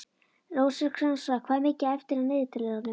Rósinkransa, hvað er mikið eftir af niðurteljaranum?